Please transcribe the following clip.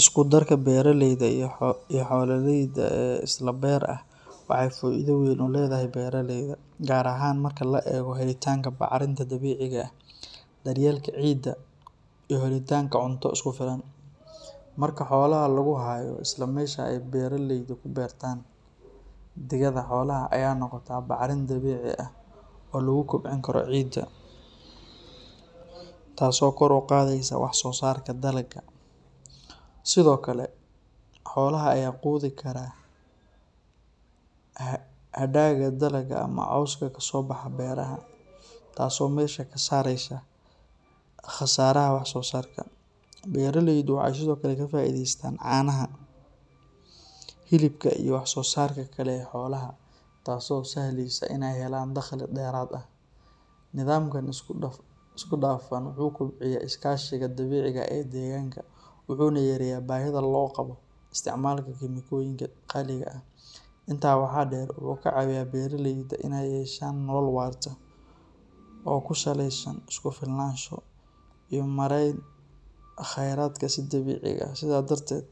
Isku darka beeraleyda iyo xoolaleyda ee isla beer ah waxay faa’iido weyn u leedahay beeraleyda, gaar ahaan marka la eego helitaanka bacrinta dabiiciga ah, daryeelka ciidda, iyo helitaanka cunto isku filan. Marka xoolaha lagu hayo isla meesha ay beeraleyda ku beertaan, digada xoolaha ayaa noqota bacrin dabiici ah oo lagu kobcin karo ciidda, taasoo kor u qaadaysa wax-soosaarka dalagga. Sidoo kale, xoolaha ayaa quudi kara hadhaaga dalagga ama cawska kasoo baxa beeraha, taasoo meesha ka saaraysa khasaaraha wax soo saarka. Beeraleydu waxay sidoo kale ka faa’iidaystaan caanaha, hilibka, iyo wax soo saarka kale ee xoolaha, taasoo u sahlaysa inay helaan dakhli dheeraad ah. Nidaamkan isku dhafan wuxuu kobciyaa iskaashiga dabiiciga ah ee deegaanka, wuxuuna yareeyaa baahida loo qabo isticmaalka kiimikooyinka qaaliga ah. Intaa waxaa dheer, wuxuu ka caawiyaa beeraleyda inay yeeshaan nolol waarta, oo ku saleysan is-ku-filnaansho iyo maarayn khayraadka si dabiici ah. Sidaas darteed,